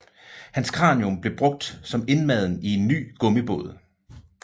Hans kranium blev brugt som indmaden i en ny gummibold